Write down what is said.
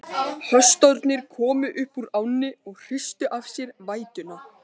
Hestarnir komu upp úr ánni og hristu af sér vætuna.